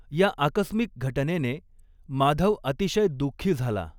या आकस्मिक घटनेने माधव अतिशय दुःखी झाला.